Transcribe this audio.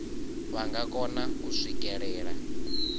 vha nga kona u swikelela